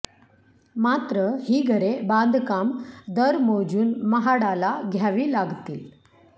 मात्र ही घरे बांधकाम दर मोजून म्हाडाला घ्यावी लागतील